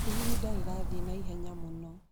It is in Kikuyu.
ihinda rĩrathiĩ na ihenya mũno